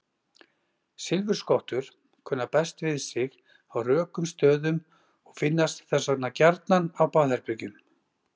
Silfurskottur kunna best við sig á rökum stöðum og finnast þess vegna gjarnan á baðherbergjum.